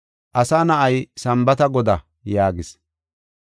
Asa Na7ay Sambaata Godaa” yaagis.